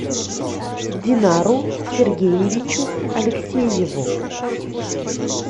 динару сергеевичу алексееву